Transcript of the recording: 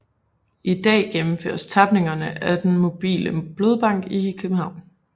I dag gennemføres tapningerne af den Mobile Blodbank i København